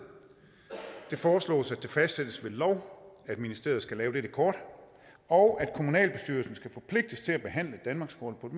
det foreslås at det fastsættes ved lov at ministeriet skal lave dette kort og at kommunalbestyrelsen skal forpligtes til at behandle danmarkskortet